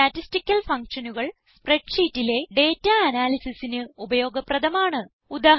statistical fuctionകൾ spread ഷീറ്റിലെ data analysisന് ഉപയോഗപ്രദമാണ്